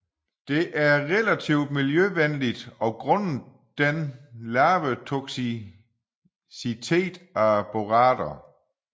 Det er relativt miljøvenligt grundet den lave toksicitet af borater